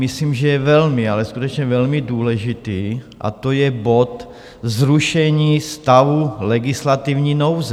Myslím, že je velmi, ale skutečně velmi důležitý, a to je bod Zrušení stavu legislativní nouze.